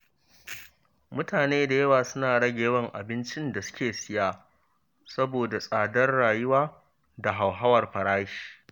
Mutane da yawa suna rage yawan abincin da suke siya saboda tsadar rayuwa da hauhawar farashi.